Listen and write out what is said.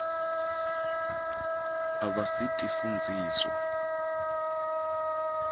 abasitifundziswa